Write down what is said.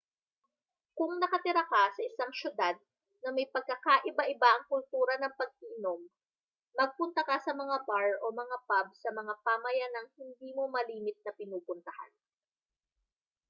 kung nakatira ka sa isang siyudad na may pagkakaiba-iba ang kultura ng pag-iinom magpunta ka sa mga bar o mga pub sa mga pamayanang hindi mo malimit na pinupuntahan